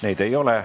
Neid ei ole.